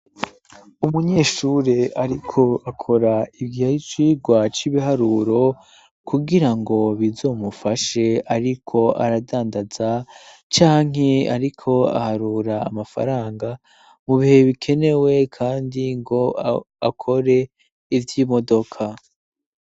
Umunyeshure ariko akora ivy'icigwa c'ibiharuro kugira ngo bizomufashe ariko aradandaza canke ariko aharura amafaranga mu bihe bikenewe kandi ngo akore ivy'imodoka.